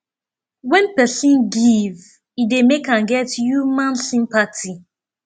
when perosn give e dey make am get human sympathy